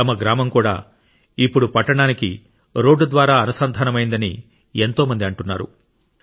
తమ గ్రామం కూడా ఇప్పుడు పట్టణానికి రోడ్డు ద్వారా అనుసంధానమైందని ఎంతో మంది అంటున్నారు